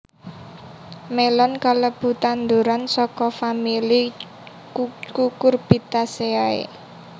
Mélon kalebu tanduran saka famili Cucurbitaceae